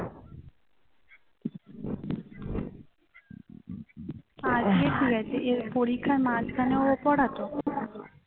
আজকে ঠিক আছে পরীক্ষার মাঝখানেও পড়াতো